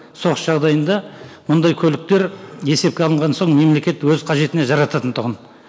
соғыс жағдайында мұндай көліктер есепке алынған соң мемлекет өз қажетіне жарататын тұғын